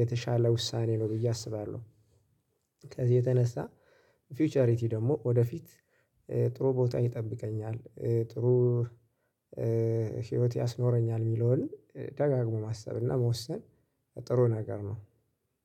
የተሻለ ውሳኔ ነው ብዬ አስባለሁ። ከዚህ የተነሳ ፊውቸሪቲ ደግሞ ወደፊት ጥሩ ቦታ ይጠብቀኛል፣ ጥሩ ህይወት ያስኖረኛል የሚለውን ደጋግሞ ማሰብ እና መወሰን ጥሩ ነገር ነው።